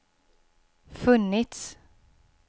funnits